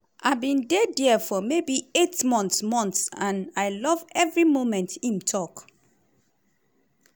"i bin dey dia for maybe eight months months and i love evri moment"im tok.